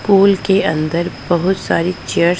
school के अंदर बहोत सारी चेयर --